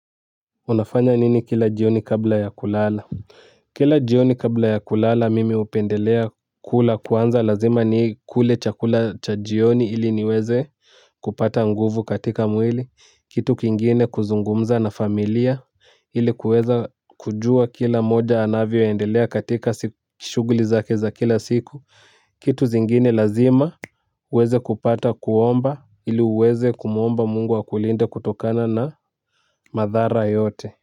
Unafanya nini kila jioni kabla ya kulala. Kila jioni kabla ya kulala mimi upendelea kula kwanza lazima ni kule chakula cha jioni ili niweze kupata nguvu katika mwili. Kitu kingine kuzungumza na familia ili kuweza kujua kila moja anavyo aendelea katika shugli zake za kila siku kitu zingine lazima uweze kupata kuomba ili uweze kumuomba Mungu akulinda kutokana na madhara yote.